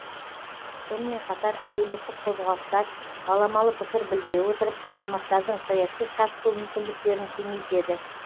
сонымен қатар әлеуметтік қозғалыстар баламалы пікір білдіре отырып азаматтардың саяси қатысу мүмкіндіктерін кеңейтеді